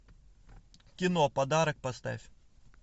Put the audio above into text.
кино подарок поставь